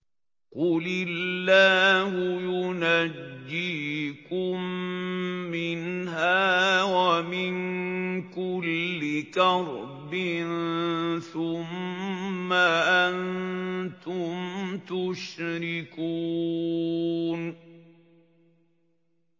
قُلِ اللَّهُ يُنَجِّيكُم مِّنْهَا وَمِن كُلِّ كَرْبٍ ثُمَّ أَنتُمْ تُشْرِكُونَ